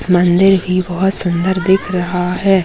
मंदिर भी बहुत सुंदर दिख रहा--